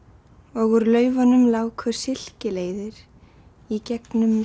og úr lauf un um láku silki leiðir í gegn um